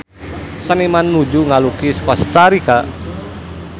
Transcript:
Seniman nuju ngalukis Kosta Rika